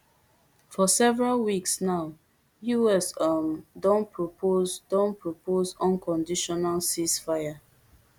for several weeks now us um don propose don propose unconditional ceasefire